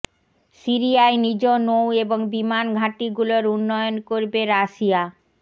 সিরিয়ায় নিজ নৌ এবং বিমান ঘাঁটিগুলোর উন্নয়ন করবে রাশিয়া